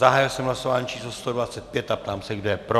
Zahájil jsem hlasování číslo 125 a ptám se, kdo je pro.